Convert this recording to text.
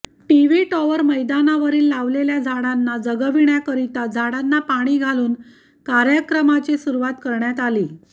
TV tower मैदानावरिल लावलेल्या झाडांना जगविण्या करीता झाडांना पाणी घालून कार्यक्रमाची सुरुवात करण्यात आली